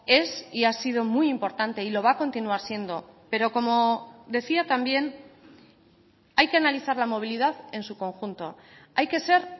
es y ha sido muy importante y lo va a continuar siendo pero como decía también hay que analizar la movilidad en su conjunto hay que ser